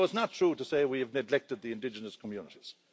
So it's not true to say we have neglected the indigenous communities.